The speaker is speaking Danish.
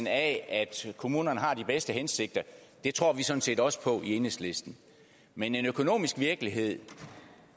at kommunerne har de bedste hensigter og det tror vi sådan set også på i enhedslisten men en økonomisk virkelighed